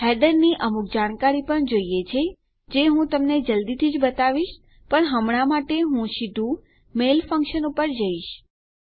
header ની અમુક જાણકારી પણ જોઈએ છે જે હું તમને જલ્દી જ બતાવીશ પણ હમણાં માટે હું સીધું મેઇલ ફંકશન પર જઈશ